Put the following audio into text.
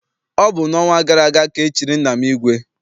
Ọ bụ n'ọnwa gara aga ka e chiri nna m ìgwè.